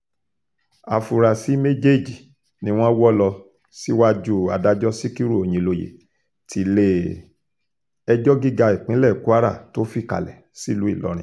áfúrásì méjèèjì ni wọ́n wọ́ lọ síwájú adájọ́ sikiru oyinlóye tilé-ẹjọ́ gíga ìpínlẹ̀ kwara tó fìkàlẹ̀ sílù ìlọrin